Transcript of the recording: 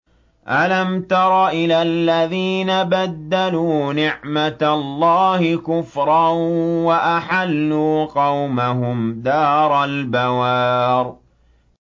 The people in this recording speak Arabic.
۞ أَلَمْ تَرَ إِلَى الَّذِينَ بَدَّلُوا نِعْمَتَ اللَّهِ كُفْرًا وَأَحَلُّوا قَوْمَهُمْ دَارَ الْبَوَارِ